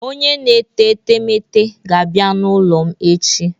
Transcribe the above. Onye na-ete etemeete ga-abịa n'ụlọ m echi.